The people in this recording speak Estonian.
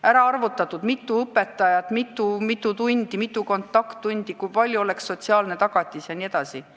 On kokku arvutatud, mitu õpetajat, mitu tundi, mitu kontakttundi, kui suur oleks sotsiaalne tagatis jne.